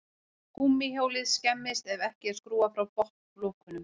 Gúmmíhjólið skemmist ef ekki er skrúfað frá botnlokunum.